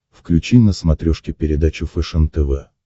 включи на смотрешке передачу фэшен тв